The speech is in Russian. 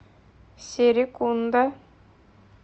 серекунда